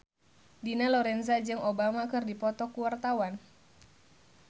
Dina Lorenza jeung Obama keur dipoto ku wartawan